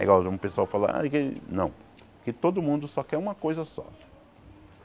É igual um pessoal fala... Não, porque todo mundo só quer uma coisa só.